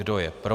Kdo je pro?